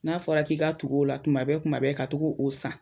N'a fɔra k'i ka tug'o la kuma bɛɛ kuma bɛɛ ka to ka o san